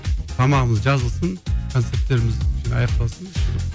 тамағымыз жазылсын концерттеріміз аяқталсын